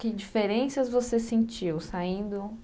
Que diferenças você sentiu saindo...?